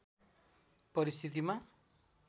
परिस्थितिमा